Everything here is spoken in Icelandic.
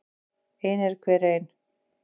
Ein er hver ein.